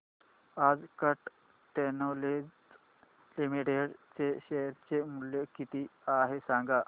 आज Cat Technologies Limited चे share चे मूल्य किती आहे सांगा